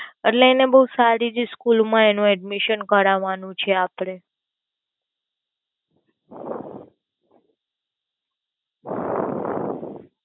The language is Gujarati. એટલે એને બોવ સારી જ School માં Admission કરવાનું છે આપડે અમ